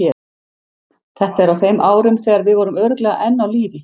Þetta er á þeim árum þegar við vorum örugglega enn á lífi.